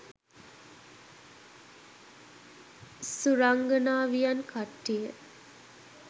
සුරංගනාවියන් කට්ටිය.